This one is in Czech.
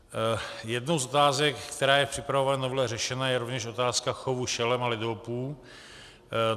Jednou z otázek, která je v připravované novele řešena, je rovněž otázka chovu šelem a lidoopů.